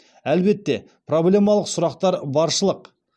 әлбетте проблемалық сұрақтар баршылық